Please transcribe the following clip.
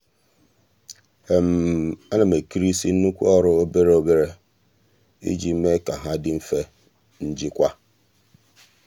a na m ekerisị nnukwu ọrụ obere obere iji mee ka ha dị mfe njikwa.